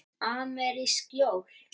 Amerísk jól.